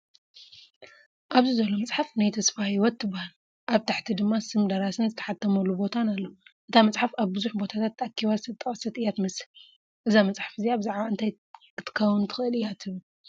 ኣብዚ ዘሎ መጽሓፍ "ናይ ተስፋ ሂወት" ትበሃል። ኣብ ታሕቲ ድማ ስም ደራስን ዝተሓትመሉ ቦታን ኣሎ። እታ መጽሓፍ ኣብ ብዙሕ ቦታታት ተኣኪባ ዝተጠቕሰት እያ ትመስል። እዛ መጽሓፍ እዚኣ ብዛዕባ እንታይ ክትከውን ትኽእል እያ ትብል?